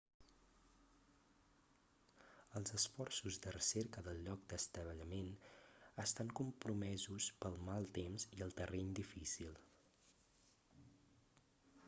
els esforços de recerca del lloc d'estavellament estan compromesos pel mal temps i el terreny difícil